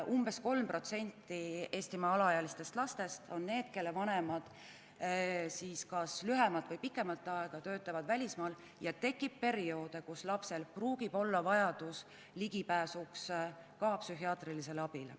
Umbes 3% Eestimaa alaealistest lastest on need, kelle vanemad töötavad kas lühemat või pikemat aega välismaal, ja esineb perioode, kus lapsel võib tekkida vajadus ligipääsuks ka psühhiaatrilisele abile.